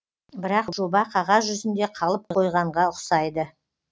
бірақ жоба қағаз жүзінде қалып қойғанға ұқсайды